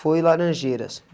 Foi laranjeiras.